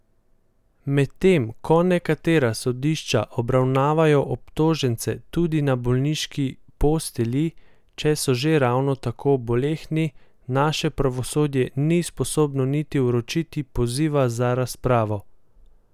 Medtem ko nekatera sodišča obravnavajo obtožence tudi na bolniški postelji, če so že ravno tako bolehni, naše pravosodje ni sposobno niti vročiti poziva za razpravo!